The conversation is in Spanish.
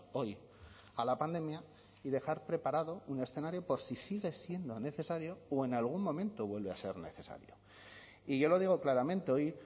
hoy a la pandemia y dejar preparado un escenario por si sigue siendo necesario o en algún momento vuelve a ser necesario y yo lo digo claramente hoy